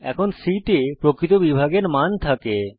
এখন c তে প্রকৃত বিভাগের মান থাকে